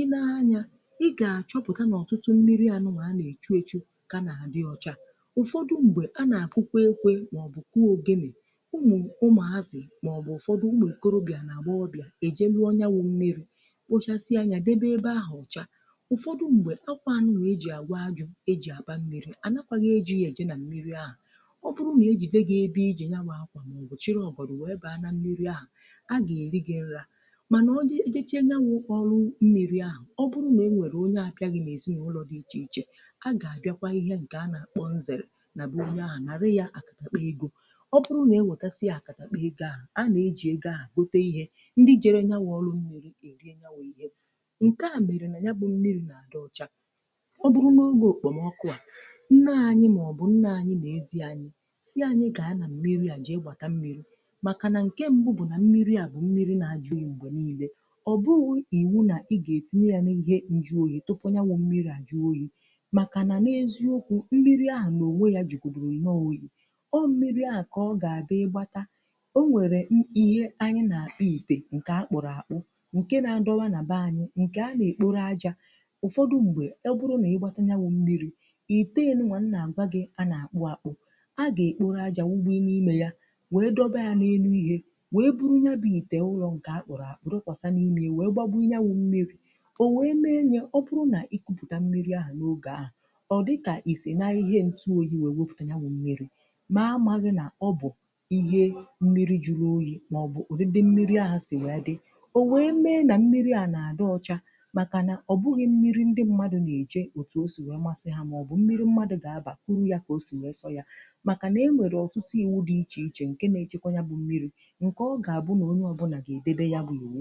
I nee anya ị ga-achọpụtà n’ọtụtụ mmiri anụnwà a na-echu echu ka na-adị ọcha, ụfọdụ ṁgbe a na-akụkwa ekwe maọbụ̀ kụọ ogenè, ụmụ̀ ụmụ̀ azị̀ maọbụ̀ ụfọdụ̀ ụmụ̀ okorobịà na agbọghọbịà ejelụọ nyà wụ mmiri wụchasịa anyà debe ebe ahụ ọcha, ụfọdụ ṁgbe akwà anụnwà eji agwa ajụ̀ eji abà mmiri à nakwàghị̀ eji ya eje na mmiri ahụ, ọ bụrụ na ejide gi ebe iji ya bu akwa maọ̀bụ̀ chịrị ọgọdụ wee bụ anȧ mmiri ahụ̀, a ga-eri gị nrà. Manà ọ..ojechee nya nwụ ọrụ mmiri ahụ̀, ọ bụrụ na e nwere onye abịaghị na ezinụlọ̀ dị iche iche a ga-abịakwa ihe nke anà kpọọ nzere na be onye ahụ̀ na rị ya akatakpa egȯ, ọ bụrụ na e nwetasịa akatakpa ị ga-a a na-eji ego ahụ̀ gote ihe ndị jere nya wụ ọrụ mmiri e rie ya ihe nke a mere nà ya bụ mmiri na-adị ọcha. ọ bụrụ n’oge okpomọkụ a nne anyị maọbụ nna anyị ma ezi anyị si anyị gaa na mmiri a jee gbata mmiri, makà na nke mbụ̀ bụ̀ na mmiri à bụ̀ mmiri na-ajụ̀ oyi m̀gbè n’ile, ọ bụrụ̀ iwu nà ị ga-etinye yà n’ihe njụ oyi̇ tupu nyawụ̀ mmiri à jụọ oyi̇ màkà nà n’eziokwu̇ mmiri ahụ̀ na-ònwe yà jugodiri nnọọ oyi, ọ mmiri àhụ ka ọ ga-adị ịgbatà o nwere m..ihe anyị̇ na-akpọ̀ itè nke akpụ̀rụ̀ àkpụ̀ nke na-adọwà n’abè anyị̇ nke na-ekporo ajà, ụfọdụ̀ mgbè ọ bụrụ̀ na ị gbatà nyawụ̀ mmiri̇ i tee enumà m na-agwàgị̀ a na-akpụ̀-akpụ̀, a ga-ekporo ajà wugbò i na-ime yà dọba ya n'ime ya, wee buru ya bụ ite ụlọ̀ ǹkè akpụ̀rụ̀ àkpụ̀ dọkwasa n’ime iwee gbȧbụ ya wụ̀ mmiri, o wee mee nye ọ bụrụ nà ikupùta mmiri ahụ̀ n’ogè ahụ̀ ọ dịkà ìsènaghị ihe ntụ oyi wèe wopùtà nya wụ̀ mmiri mee amaghị nà ọ bụ̀ ihe mmiri juru oyi̇ màọbụ̀ ọdịdị mmiri ahụ̀ sì wee dị. O wee mee nà mmiri à nà-àdị ọcha màkànà ọ bụghị mmiri ndị mmadụ̀ nà-èje otù o si wee masị ha màọbụ̀ mmiri mmadụ̀ gà-abà kuru ya kà o sì wee sọ yȧ, maka na enwere ọtụtụ̀ iwu di iche iche nke n'echekwa ya bụ mmiri, nke ọ ga-abụ̀ na onye ọbụna ga-edebe ya bụ iwu